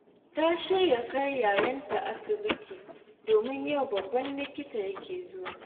Ta shirya kai 'ya'yanta asibiti, domin yau babban likita yake zuwa